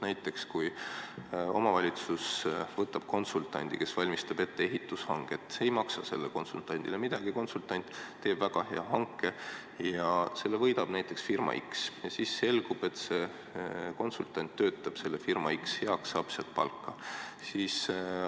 Näiteks võtab omavalitsus konsultandi valmistama ette ehitushanget ja ei maksa talle midagi, konsultant teeb väga hea hanke ja selle võidab firma X. Siis aga selgub, et see konsultant töötab sellesama firma X heaks, saab sealt palka.